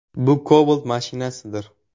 Bu Cobalt mashinasidir.